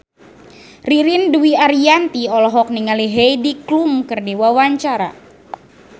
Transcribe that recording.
Ririn Dwi Ariyanti olohok ningali Heidi Klum keur diwawancara